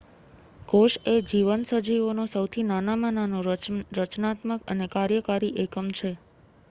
કોશ એ જીવંત સજીવોનો સૌથી નાનામાં નાનો રચનાત્મક અને કાર્યકારી એકમ છે